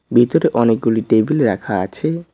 ভিতরে অনেকগুলি টেবিল রাখা আছে।